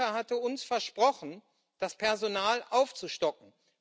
Herr Juncker hatte uns versprochen, das Personal aufzustocken.